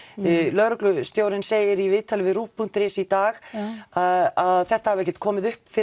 lögreglustjórinn segir í viðtali við ruv punktur is í dag að þetta hafi ekki komið upp fyrr